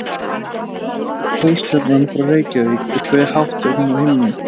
Í hvaða átt er Pólstjarnan frá Reykjavík og hve hátt er hún á himni?